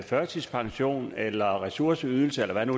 førtidspension eller fået ressourceydelse eller hvad nu